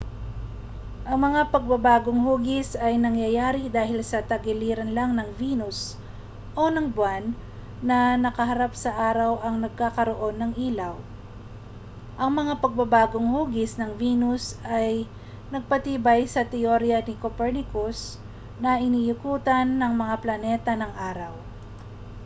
ang mga pagbabagong-hugis ay nangyayari dahil ang tagiliran lang ng venus o ng buwan na nakaharap sa araw ang nagkakaroon ng ilaw. ang mga pagbabagong-hugis ng venus ay nagpatibay sa teorya ni copernicus na iniikutan ng mga planeta ang araw